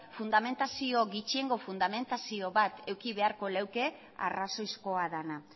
gutxiengo fundamentazio bat eduki beharko luke arrazoizkoa dena